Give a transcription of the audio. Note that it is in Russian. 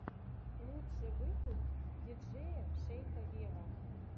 лучший выпуск диджея шейка вево